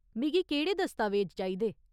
मिगी केह्ड़े दस्तावेज चाहिदे ?